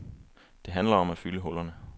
Det handler om at fylde hullerne.